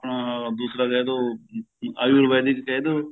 ਦੂਸਰਾ ਕਹਿਦੋ ਆਯੂਰਵੈਦਿਕ ਕਹਿਦੋ